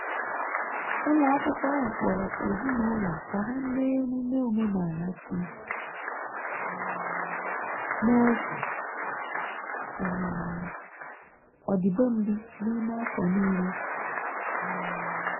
Ụlo akwụkwo ahu kpọrọ ezinụlọ ka ha mee emụme omenala si um n'ọtụtụ um ọdibendị n'ime afọ nile um